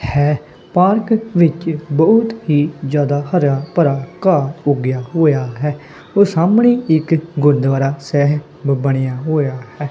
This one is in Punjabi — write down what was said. ਹੈ ਪਾਰਕ ਵਿੱਚ ਬਹੁਤ ਹੀ ਜਿਆਦਾ ਹਰੇਆ ਭਰਾ ਘਾਹ ਉੱਗੇਆ ਹੋਇਆ ਹੈ ਓਹ ਸਾਹਮਣੇ ਇੱਕ ਗੁਰੂਦਵਾਰਾ ਸੈਹਿਬ ਬਣਿਆ ਹੋਇਆ ਹੈ।